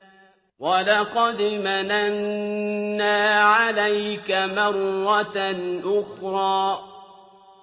وَلَقَدْ مَنَنَّا عَلَيْكَ مَرَّةً أُخْرَىٰ